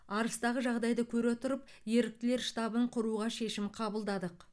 арысытағы жағдайды көре отырып еріктілер штабын құруға шешім қабылдадық